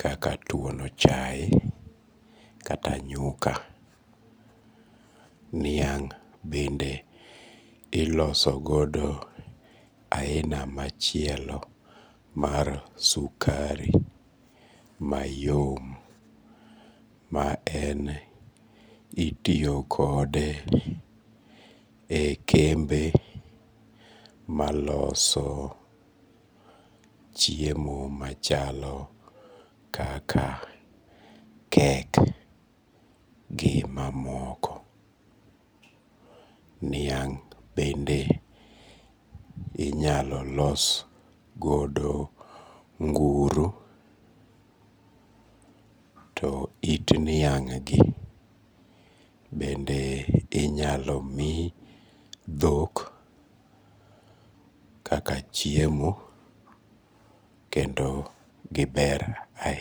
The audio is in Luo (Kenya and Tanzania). kaka tuono chae kata nyuka, niang' bende ilosogodo aina machielo mar sukari mayom, ma en itiyo kode e kembe maloso chiemo machalo kaka cake gi mamoko, niang' bende inyalo los godo nguru to it niang' gi bende inyalo mi dhok kaka chiemo kendo giber ainya